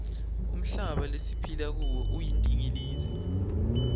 umhlaba lesiphila kuwo uyindingilizi